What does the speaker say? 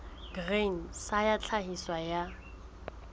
grain sa ya tlhahiso ya